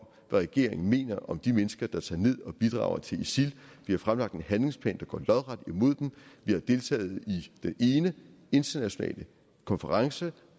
regeringen mener om de mennesker der tager ned og bidrager til isil vi har fremlagt en handlingsplan der går lodret imod dem og vi har deltaget i den ene internationale konference